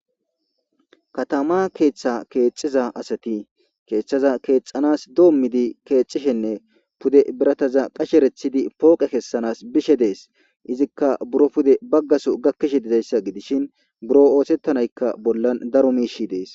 Katama keetha kexiza asati Kethaza kexanas domidine kexishene Pude birataza qashechishe poqe kexanas Bishe de'es izika biro Pude bags Gatho gakishe de'iyaysi Gidishin Biro othetanayka bolan daro mishiy de'es